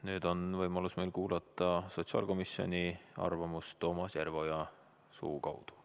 Nüüd on võimalus meil kuulata sotsiaalkomisjoni arvamust Toomas Järveoja suu kaudu.